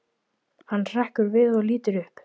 Hann hrekkur við og lítur upp.